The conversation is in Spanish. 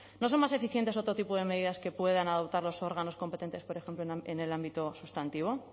no son más eficientes otro tipo de medidas que puedan adoptar los órganos competentes por ejemplo en el ámbito sustantivo